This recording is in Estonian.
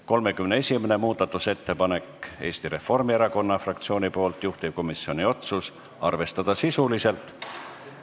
31. muudatusettepanek on Eesti Reformierakonna fraktsioonilt, juhtivkomisjoni otsus on arvestada sisuliselt.